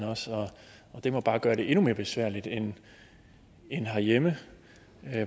og det må bare gøre det endnu mere besværligt end herhjemme